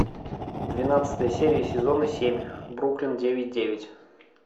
двенадцатая серия сезона семь бруклин девять девять